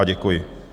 A děkuji.